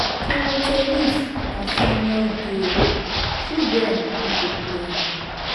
table ten nis na senior game children no dey play am